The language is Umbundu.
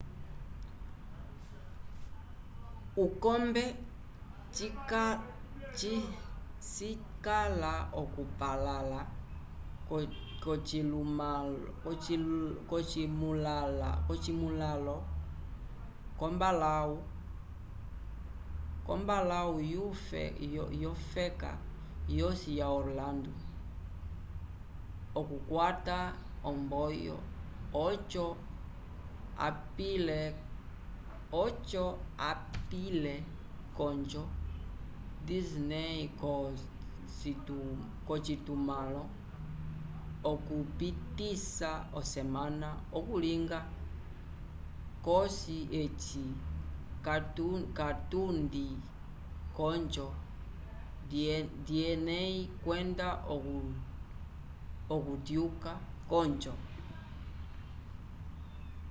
ukombe cikala okupalala ko cimulalo com mbalahu yo feka yosi ya orlando okukwata omboyo oco apiile konjo disney ko citumalo okupisa osemana okulinga cosi eci katundi konjo dieney kwenda okutyuka konjo